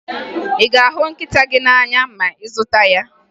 Ị ga-ahụ nkịta gị n'anya ma ị zụta ya?